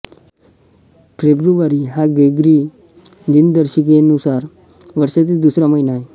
February हा Gregory दिनदर्शिकेनुसार वर्षातील दुसरा महिना आहे